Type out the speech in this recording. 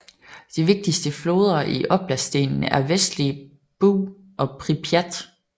De vigtigste floder i oblastenen er Vestlige Bug og Pripjat